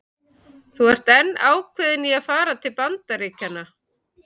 Þú ert enn ákveðin í að fara til Bandaríkjanna?